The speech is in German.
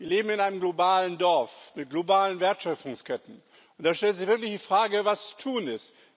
Wir leben in einem globalen Dorf mit globalen Wertschöpfungsketten, und da stellt sich wirklich die Frage, was zu tun ist.